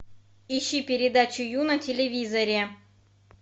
ищи передачу ю на телевизоре